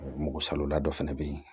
Mɔgɔ salola dɔ fɛnɛ bɛ yen